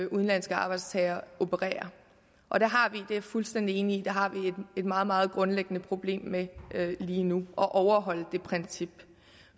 udenlandske arbejdstagere opererer og der har vi det er jeg fuldstændig enig i et meget meget grundlæggende problem med lige nu at overholde det princip